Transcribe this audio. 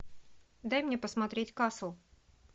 дай мне посмотреть касл